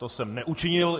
To jsem neučinil.